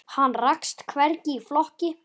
Hann rakst hvergi í flokki.